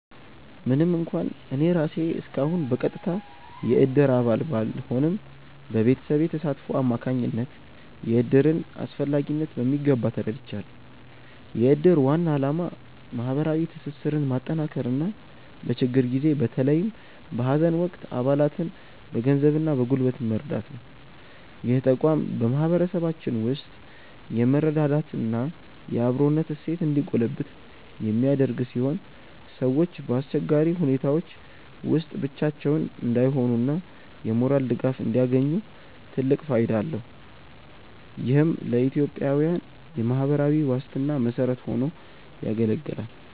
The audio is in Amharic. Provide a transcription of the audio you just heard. ምንም እንኳን እኔ ራሴ እስካሁን በቀጥታ የእድር አባል ባልሆንም፣ በቤተሰቤ ተሳትፎ አማካኝነት የእድርን አስፈላጊነት በሚገባ ተረድቻለሁ። የእድር ዋና ዓላማ ማህበራዊ ትስስርን ማጠናከርና በችግር ጊዜ በተለይም በሀዘን ወቅት አባላትን በገንዘብና በጉልበት መርዳት ነው። ይህ ተቋም በማህበረሰባችን ውስጥ የመረዳዳትና የአብሮነት እሴት እንዲጎለብት የሚያደርግ ሲሆን፣ ሰዎች በአስቸጋሪ ሁኔታዎች ውስጥ ብቻቸውን እንዳይሆኑና የሞራል ድጋፍ እንዲያገኙ ትልቅ ፋይዳ አለው። ይህም ለኢትዮጵያዊያን የማህበራዊ ዋስትና መሰረት ሆኖ ያገለግላል።